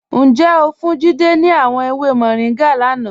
Njẹ́ o fún Jídẹ̀ ni àwọn èwè Moringa lánà?